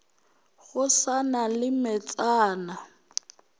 go sa na le metsana